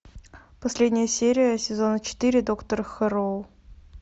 последняя серия сезона четыре доктор хэрроу